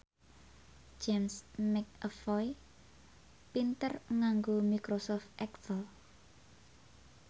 James McAvoy pinter nganggo microsoft excel